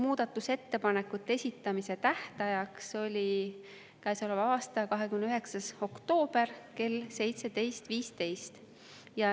Muudatusettepanekute esitamise tähtajaks oli käesoleva aasta 29. oktoober kell 17.15.